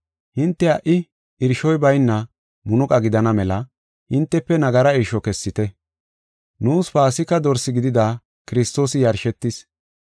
Hinte ha77i irshoy bayna munuqa gidana mela, hintefe nagara irsho kessite. Nuus Paasika dorse gidida Kiristoosi yarshetis.